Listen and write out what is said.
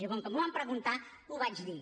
i com que m’ho van preguntar ho vaig dir